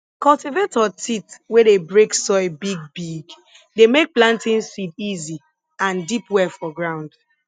cultivator teeth wey dey break soil bigbigg dey make planting seed easy and deep well for ground